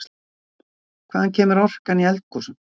Hvaðan kemur orkan í eldgosum?